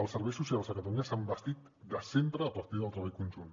els serveis socials a catalunya s’han bastit sempre a partir del treball conjunt